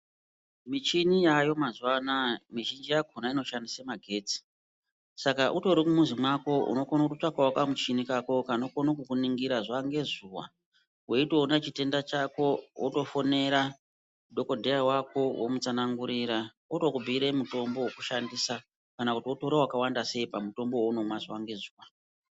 Michini yaayo mazuwa anaya mizhunji yakona inoshandise magetsi saka utori mumuzi mako unokone kutsvakawo kamuchini kako kanokone kukuningira zuwangezuwa weitoona chitenda chako wotofonera dhokodheya wako womutsanangurira otokubhuyire mutombo wekutoshandisa kana kuti wotore wakawanda sei pamutombo waunomwa zuwa ngezuwa.